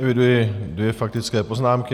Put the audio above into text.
Eviduji dvě faktické poznámky.